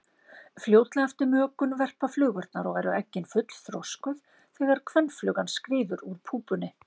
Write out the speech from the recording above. Fljótlega eftir mökun verpa flugurnar og eru eggin fullþroskuð þegar kvenflugan skríður úr púpunni.